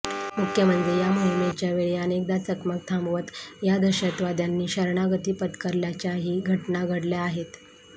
मुख्य म्हणजे या मोहिमेच्या वेळी अनेकदा चकमक थांबवत या दहशतवाद्यांनी शरणागती पत्करल्याच्याही घटना घडल्या आहेत